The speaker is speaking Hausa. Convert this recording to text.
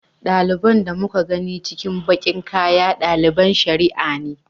Ɗaliban da muka gani cikin baƙin kaya ɗaliban shari'a ne.